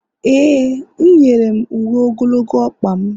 e, m nyere m uwe ogologo ọkpa m